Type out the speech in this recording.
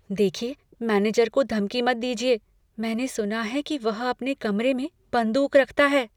देखिए, मैनेजर को धमकी मत दीजिए। मैंने सुना है कि वह अपने कमरे में बंदूक रखता है।